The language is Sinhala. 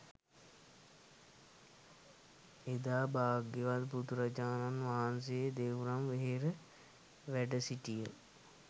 එදා භාග්‍යවත් බුදුරජාණන් වහන්සේ දෙව්රම් වෙහෙරේ වැඩසිටිය